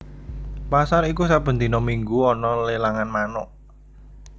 Pasar iku saben dina minggu ana lelangan manuk